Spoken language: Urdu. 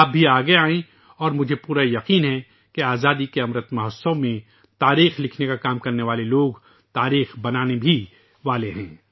آپ بھی آگے آئیں اور مجھے پختہ یقین ہے کہ آزادی کے امرت مہوتسو میں تاریخ لکھنے کا کام کرنے والے لوگ تاریخ بنانے والے بھی ہیں